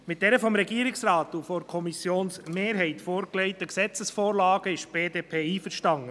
Mit diesen vom Regierungsrat und der Kommissionsmehrheit vorgelegten Gesetzesvorlagen ist die BDP einverstanden.